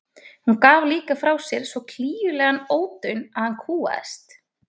Hún gaf líka frá sér svo klígjulegan ódaun að hann kúgaðist.